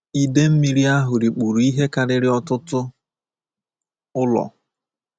Ide mmiri ahụ rikpuru ihe karịrị ọtụtụ ụlọ.